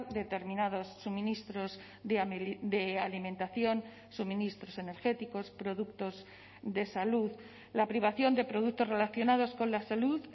determinados suministros de alimentación suministros energéticos productos de salud la privación de productos relacionados con la salud